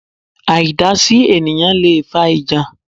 Àìdásí ènìyãn leè fa ìjà